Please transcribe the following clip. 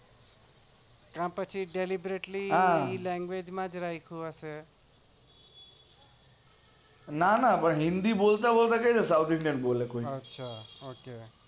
તો પછી delibratly language રાખ્યું હશે નાના હિન્દી બોલતા બોલતા કઈ રીતે South Indian બોલે કોઈ